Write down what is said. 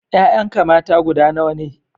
Ƴaƴanka mata guda nawa ne?